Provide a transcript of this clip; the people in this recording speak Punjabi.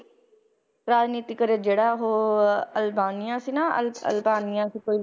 ਰਾਜਨੀਤੀ career ਜਿਹੜਾ ਉਹ ਅਲਬਾਨੀਆ ਸੀ ਨਾ ਅਲ~ ਅਲਤਾਨੀਆ ਸੀ ਕੋਈ